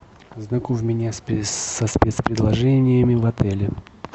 ознакомь меня со спецпредложениями в отеле